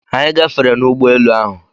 Anyị gafere n'ụgbọ elu ahụ.